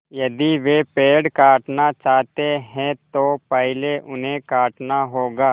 यदि वे पेड़ काटना चाहते हैं तो पहले उन्हें काटना होगा